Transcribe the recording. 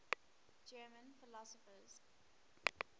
german philosophers